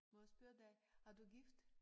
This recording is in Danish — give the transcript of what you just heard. Må jeg spørge dig er du gift?